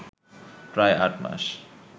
প্রায় আটমাস